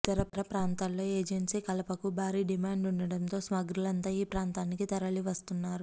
ఇతర ప్రాంతాల్లో ఏజెన్సీ కలపకు భారీ డిమాండ్ ఉండటంతో స్మగ్లర్లంతా ఈ ప్రాంతానికి తరలివస్తున్నారు